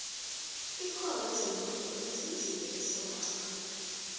ikoro yezemnotho izinzile esewula afrika